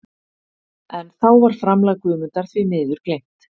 En þá var framlag Guðmundar því miður gleymt.